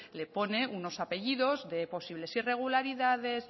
le pone unos apellidos de posibles irregularidades